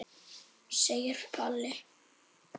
segir Palli.